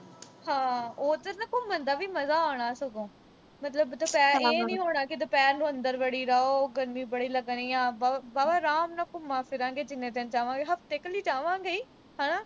ਹਾਂ, ਉਹ ਫਿਰ ਨਾ ਘੁੰਮਣ ਦਾ ਵੀ ਮਜ਼ਾ ਆਉਣਾ ਸਗੋਂ। ਮਤਲਬ ਦੁਪਹਿਰ ਅਹ ਇਹ ਨੀ ਹੋਣਾ ਵੀ ਦੁਪਿਹਰ ਨੂੰ ਅੰਦਰ ਵੜੀ ਦਾ, ਉਹ ਗਰਮੀ ਬੜੀ ਲੱਗਣੀ ਆ। ਵਾਹਵਾ ਆਰਾਮ ਨਾਲ ਘੁੰਮਾਂ-ਫਿਰਾਂਗੇ ਜਿੰਨੇ ਦਿਨ ਜਾਵਾਂਗੇ। ਹਫ਼ਤੇ ਕੁ ਲਈ ਜਾਵਾਂਗੇ ਈ ਹਨਾ?